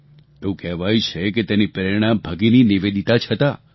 એવું કહેવાય છે કે તેની પ્રેરણા ભગિની નિવેદિતા જ હતાં